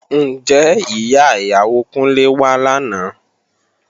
Ǹjẹ́ ìyá ìyàwó Kúnlé wá lánàá?